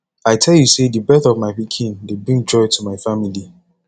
i tell you sey di birth of my pikin dey bring joy to my family